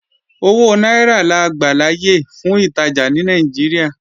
Owó náírà la gbàláyè fún ìtajà ní Nàìjíríà